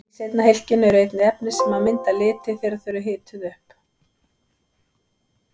Í seinna hylkinu eru einnig efni sem mynda liti þegar þau eru hituð upp.